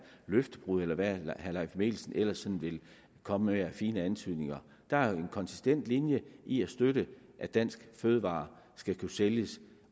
løftebrud eller hvad herre leif mikkelsen ellers kommer med af fine antydninger der er en konsistent linje i at støtte at danske fødevarer skal kunne sælges